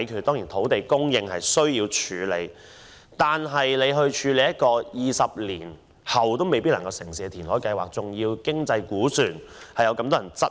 當然，土地供應問題需要處理，但一項填海計劃，在20年後也未必能夠成事，其經濟估算被許多人質疑。